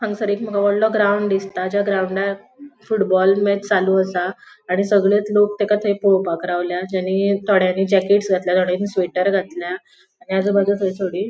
हांगासर एक माका वोडलों ग्राउन्ड दिसता ज्या ग्राउंडार फुटबॉल मैच चालू आसा आणि सगळेच लोक तेका थंय पोवपाक रावल्या जेणि थोड्यानी जॅकेट्स घातल्या थोड्यानी स्वेटर घातल्या आणि आजूबाजू थंय थोडी --